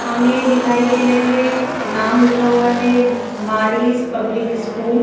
हमें दिखाई दे रहे हैं नाम लिखा हुआ है मारिस पब्लिक स्कूल ।